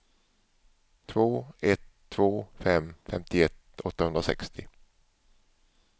två ett två fem femtioett åttahundrasextio